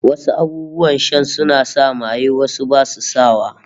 Wasu abubuwan shan suna sa maye, wasu basu sa wa